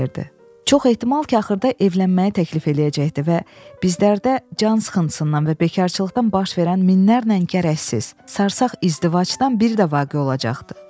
Çox ehtimal ki, axırda evlənməyə təklif eləyəcəkdi və bizlərdə cansıxıntısından və bekarçılıqdan baş verən minlərlə gərəksiz, sarsaq izdivacdan biri də olacaqdı.